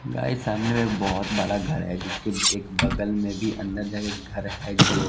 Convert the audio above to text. guys सामने में बहोत बड़ा घर है जिसके एक बगल में भी अंदर जाके घर है जो--